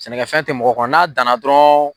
Sɛnɛkɛfɛn te mɔgɔ kɔnɔn bolu a dan dɔrɔn